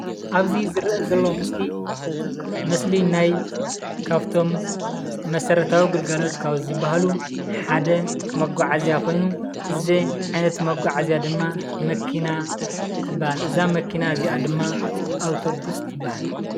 ኣብዚ ዝርአ ዘሎ ምስሊ ምስሊ ናይ ካብቶም መሰረታዊ ግልጋሎት ካብ ዝበሃሉ ሓደ መጓዓዝያ ኮይኑ እዚ ዓይነት መጓዓዝያ ድማ መኪና ትበሃል፡፡ እዛ መኪና እዚኣ ድማ ኣውቶቡስ ትበሃል፡፡